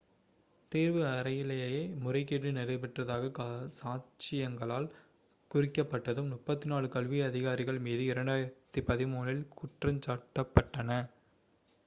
தேர்வு அறையிலேயே முறைகேடு நடைபெற்றதாகச் சாட்சியங்களால் குறிக்கப்பட்டதும் 34 கல்வி அதிகாரிகள் மீது 2013-இல் குற்றஞ்சாட்டப்பட்டன